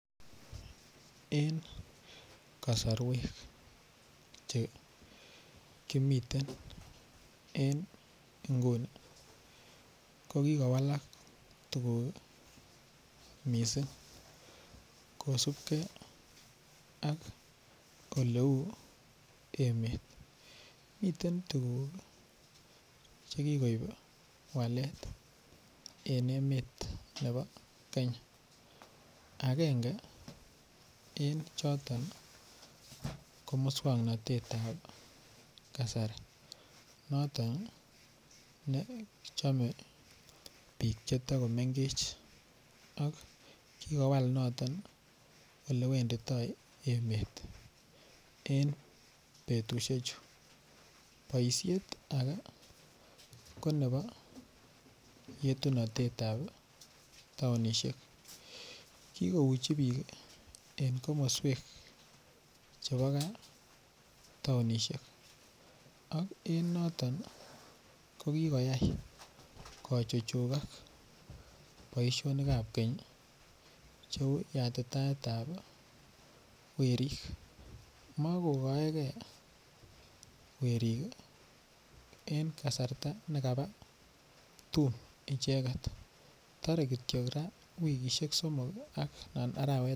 En kasarwek Che kimiten en nguni ko ki kowalak tuguk mising kosubge ak oleu emet miten tuguk Che koib walet en emet nebo Kenya agenge en choton ko moswoknatet ab kasari noton kochome bik Che to komengech ak ki kowal noton Ole wenditoi emet en betusiechu boisiet age ko nebo yetu atebtab taonisiek ki kouchi bik en komoswek Che bo gaa taonisiek ak en noton ko kigoyai kochugak boisionik ab keny cheu yatitaetab werik makokaige werik en kasarta ne kaba tum icheget torei Kityo wikisiek somok raa anan arawet agenge